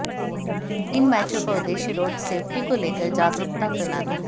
इन मैचों का उद्देश्य रोड शेफ्टी को लेकर जागरुकता फैलाना है